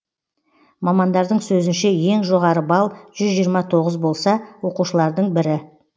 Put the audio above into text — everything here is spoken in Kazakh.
мамандардың сөзінше ең жоғары балл жүз жиырма тоғыз болса оқушылардың бірі